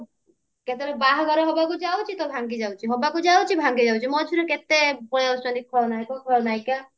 କେତେବେଳେ ବାହାଘର ହବାକୁ ଯାଉଛି ତ ଭାଙ୍ଗିଯାଉଛି ହବାକୁ ଯାଉଛି ଭାଙ୍ଗିଯାଉଛି ମଝିରେ କେତେ ପଳେଇ ଆସୁଛନ୍ତି ଖଳନାୟକ ଖଳନାୟିକା